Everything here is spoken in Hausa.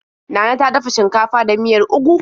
Nana ta dafa shinkafa da miyar ugu.